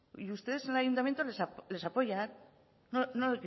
y ustedes en el ayuntamiento les apoyan no